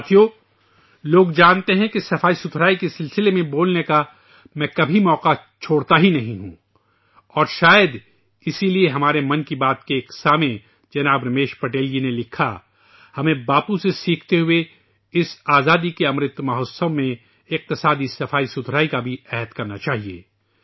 دوستو ، لوگ جانتے ہیں کہ میں کبھی بھی صفائی کے بارے میں بات کرنے کا موقع ضائع نہیں کرتا ہوں اور شاید اسی لیے ہمارے ایک 'من کی بات' سننے والے جناب رمیش پٹیل جی نے لکھا ہے ، ہمیں باپو سے سیکھتے ہوئے اس آزادی کے "امرت مہوتسو" میں معاشی صفائی کا بھی عہد لینا چاہیے